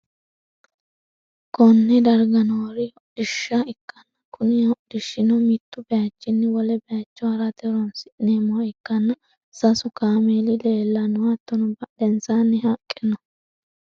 konne darga noori hodhishsha ikkanna, kuni hodhishshino mittu bayichinni wole bayicho ha'rate horonsi'neemmoha ikkanna, sasu kaameeli leellanno, hattono badhensanni haqqe no.